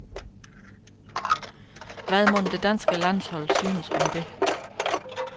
Hvad mon, det danske landshold synes om det.